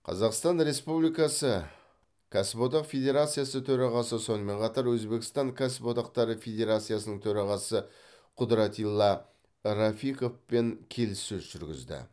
қазақстан республикасы кәсіподақ федерациясы төрағасы сонымен қатар өзбекстан кәсіподақтары федерациясының төрағасы құдратилла рафиковпен келіссөз жүргізді